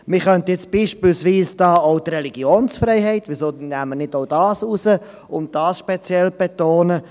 Man könnte nun beispielsweise auch die Religionsfreiheit nehmen und diese speziell betonen.